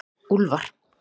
Úlfar